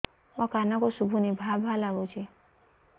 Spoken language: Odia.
ମୋ କାନକୁ ଶୁଭୁନି ଭା ଭା ଲାଗୁଚି